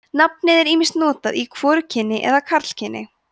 nafnið er ýmist notað í hvorugkyni eða karlkyni